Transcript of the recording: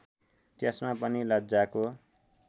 त्यसमा पनि लज्जाको